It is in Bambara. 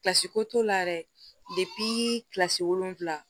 Kilasi ko t'o la yɛrɛ kilasi wolonwula